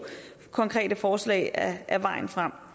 konkrete forslag er vejen frem